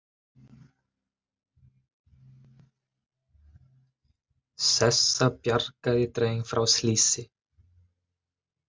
Sessa bjargaði dreng frá slysi